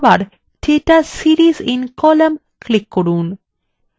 তারপর আবার data series in column click করুন